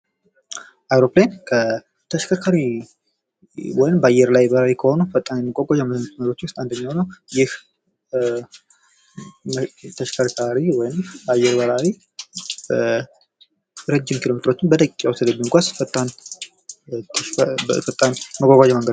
አውሮፕላን ከተሽከርካሪ ወይም በአየር ላይ ከሆኑ ፈታም የመጓጓዣ መንገዶች ውስጥ አንደኛው ነው። ይህ የተሽከርካሪ ወይም አየር በራሪ ረጅም ኪሎሜትሮችን በደቂቃዎች ውስጥ ስለሚጓዝ ፈጣን መጓጓዣ መንገድ ነው።